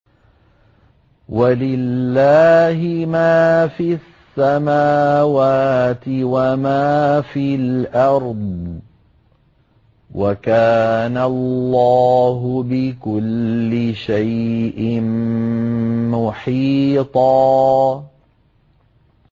وَلِلَّهِ مَا فِي السَّمَاوَاتِ وَمَا فِي الْأَرْضِ ۚ وَكَانَ اللَّهُ بِكُلِّ شَيْءٍ مُّحِيطًا